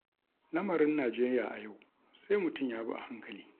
Lamarin Najeriya a yau sai mutum ya bi a hankali.